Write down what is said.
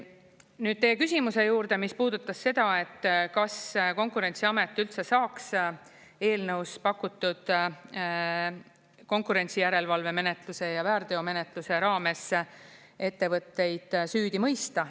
Nüüd teie küsimuse juurde, mis puudutas seda, kas Konkurentsiamet üldse saaks eelnõus pakutud konkurentsijärelevalvemenetluse ja väärteomenetluse raames ettevõtteid süüdi mõista.